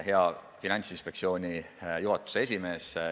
Hea Finantsinspektsiooni juhatuse esimees!